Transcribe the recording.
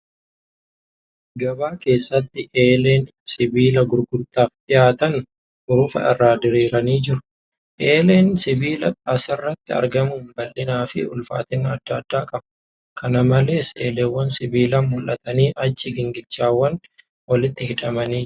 Gabaa keessatti eeleen sibiila gurgurtaaf dhiyaatan hurufa irraa diriiranii jiru. Eeleen sibiilaa asirratti argamun bal'inaa fi ulfaatina adda adda qabu. Kana malees, eeleewwan sibiilaa mul'atanii achi gingilchaawwan walittj hidhamanii argamu.